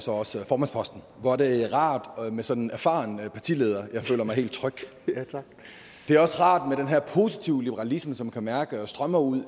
formandsposten hvor er det rart med sådan en erfaren partileder jeg føler mig helt tryg det er også rart med den her positive liberalisme som man kan mærke strømmer ud